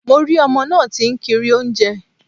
Mo rí ọmọ náà tí ń kiri oúnjẹ